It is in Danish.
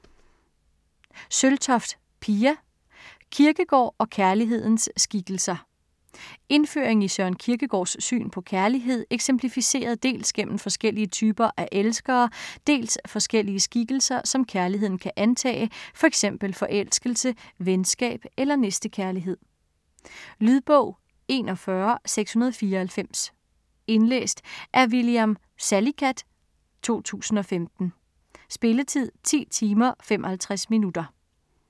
Søltoft, Pia: Kierkegaard og kærlighedens skikkelser Indføring i Søren Kierkegaards syn på kærlighed eksemplificeret dels gennem forskellige typer af elskere, dels forskellige skikkelser, som kærligheden kan antage, fx forelskelse, venskab eller næstekærlighed. Lydbog 41694 Indlæst af William Salicath, 2015. Spilletid: 10 timer, 55 minutter.